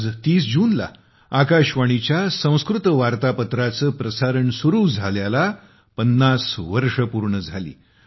आज ३० जूनला आकाशवाणीच्या संस्कृत वार्तापत्राचे प्रसारण सुरू झाल्याला 50 वर्षे पूर्ण झाली